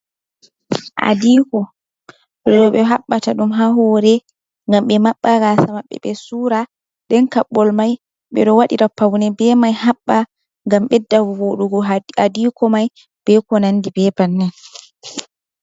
Adiko roɓe habbata ɗum ha hore gam be maɓɓa gasa maɓɓe, ɓe sura den kabbol mai ɓe ɗo waɗi ra paune be kaɓɓol be mai haɓɓa, gam ɓedda voɗugo adiko mai beko nandi be bannin